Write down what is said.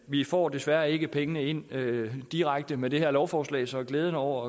vi får desværre ikke pengene ind direkte med det her lovforslag så glæden over